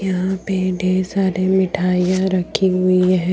यहां पे ढेर सारे मिठाइयां रखी हुई है।